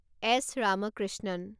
S Ramakrishnan